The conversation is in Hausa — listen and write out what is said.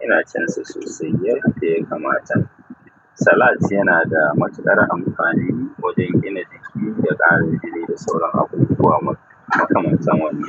Ina cin sa sosai yanda ya kama ta. Salad yana da matuƙar amfani wajen gina jiki da karin jini da sauran abubuwa ma ma kamantar wanna.